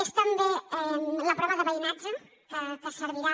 és també la prova de veïnatge que servirà